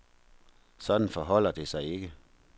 Sådan forholder det sig ikke.